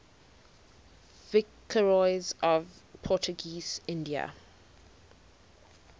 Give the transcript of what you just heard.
viceroys of portuguese india